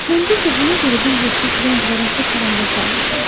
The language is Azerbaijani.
Mən bir də buna görə bir yeşik rəng və rəngli karandaş almışam.